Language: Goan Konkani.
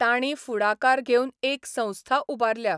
तांणी फुडाकार घेवन एक संस्था उबारल्या.